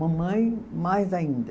Mamãe, mais ainda.